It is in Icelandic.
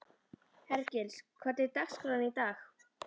Hergils, hvernig er dagskráin í dag?